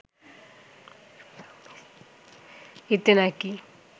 এতে নাকি